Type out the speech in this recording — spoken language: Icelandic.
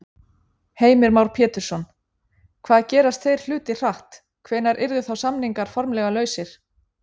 Heimir Már Pétursson: Hvað gerast þeir hlutir hratt, hvenær yrðu þá samningar formlega lausir?